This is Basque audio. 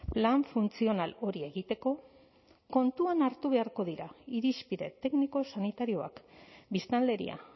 plan funtzional hori egiteko kontuan hartu beharko dira irizpide tekniko sanitarioak biztanleria